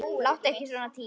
Láttu ekki svona Týri.